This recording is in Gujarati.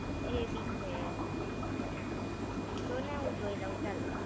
એ બી છે! જો ને હું જોઈ લવ ચાલ.